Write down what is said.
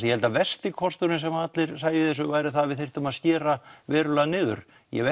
ég held að versti kosturinn sem allir sæju í þessu væri að við þyrftum að skera verulega niður ég hef